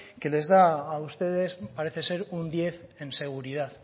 que les da a ustedes parece ser un diez en seguridad